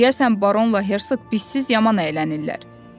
Deyəsən Baron Ləhərsük bizsiz yaman əylənir.